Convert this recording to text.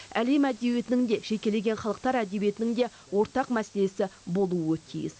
әлем әдебиетінің де жекелеген халықтар әдебиетінің де ортақ мәселесі болуы тиіс